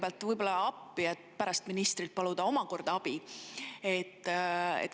Aga ma võib-olla kõigepealt tulen appi, et pärast omakorda ministrilt abi paluda.